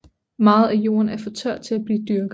Meget af jorden er for tør til at blive dyrket